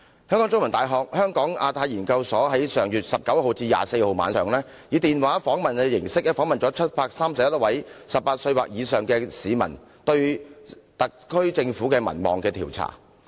香港中文大學香港亞太研究所在上月19日至24日晚上，以電話形式訪問了731位18歲或以上的市民，就特區政府的民望進行調查。